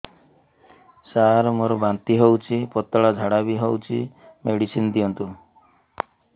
ସାର ମୋର ବାନ୍ତି ହଉଚି ପତଲା ଝାଡା ବି ହଉଚି ମେଡିସିନ ଦିଅନ୍ତୁ